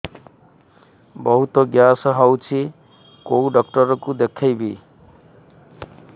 ବହୁତ ଗ୍ୟାସ ହଉଛି କୋଉ ଡକ୍ଟର କୁ ଦେଖେଇବି